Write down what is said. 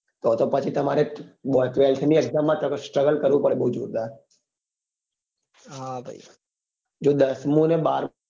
તો તો પછી તમારે બો twelfth ની exam માં struggle કરવું પડે બઉ જોરદાર જો દસમું અને બારમું